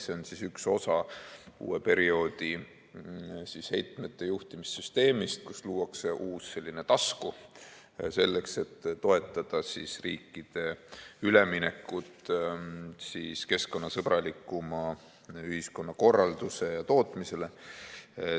See on üks osa uue perioodi heitmejuhtimise süsteemist, kus luuakse uus selline tasku, selleks et toetada riikide üleminekut keskkonnasõbralikumale ühiskonnakorraldusele ja tootmisele.